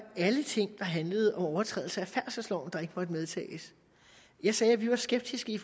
alle ting der handlede om overtrædelse af færdselsloven der ikke måtte medtages jeg sagde at vi var skeptiske i